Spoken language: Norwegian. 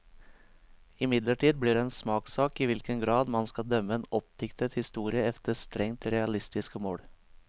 Imidlertid blir det en smakssak i hvilken grad man skal dømme en oppdiktet historie efter strengt realistiske mål.